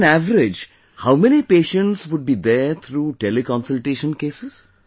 On an average, how many patients would be there through Tele Consultation cases